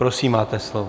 Prosím, máte slovo.